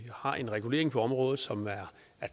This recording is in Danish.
har en regulering på området som er